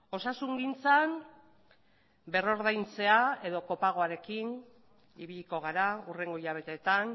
osasungintzan berrordaintzea edo kopagoarekin ibiliko gara hurrengo hilabeteetan